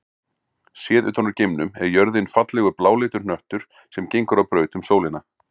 Séð utan úr geimnum er jörðin fallegur bláleitur hnöttur sem gengur á braut um sólina.